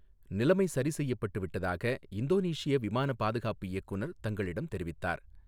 நிலைமை சரிசெய்யப்பட்டு விட்டதாக இந்தோனீசிய விமானப் பாதுகாப்பு இயக்குநர் தங்களிடம் தெரிவித்ததார்